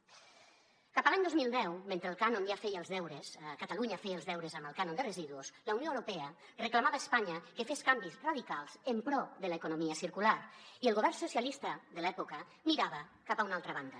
cap a l’any dos mil deu mentre el cànon ja feia els deures catalunya feia els deures amb el cànon de residus la unió europea reclamava a espanya que fes canvis radicals en pro de l’economia circular i el govern socialista de l’època mirava cap a una altra banda